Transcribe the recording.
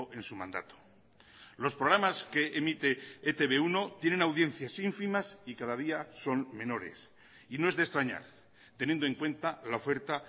en su mandato los programas que emite e te be uno tienen audiencias ínfimas y cada día son menores y no es de extrañar teniendo en cuenta la oferta